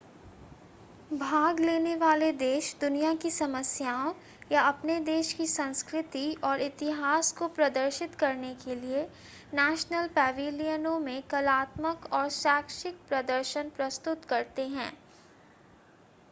भाग लेने वाले देश दुनिया की समस्याओं या अपने देश की संस्कृति और इतिहास को प्रदर्शित करने के लिए नेशनल पैविलियनों में कलात्मक और शैक्षिक प्रदर्शन प्रस्तुत करते हैं